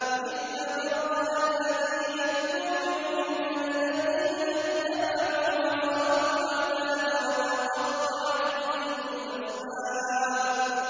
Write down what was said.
إِذْ تَبَرَّأَ الَّذِينَ اتُّبِعُوا مِنَ الَّذِينَ اتَّبَعُوا وَرَأَوُا الْعَذَابَ وَتَقَطَّعَتْ بِهِمُ الْأَسْبَابُ